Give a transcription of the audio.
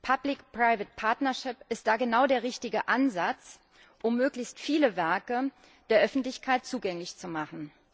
Public private partnership ist da genau der richtige Ansatz, um möglichst viele Werke der Öffentlichkeit zugänglich zu machen.